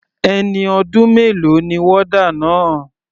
Ẹni ọdún mélòó ni warder náà?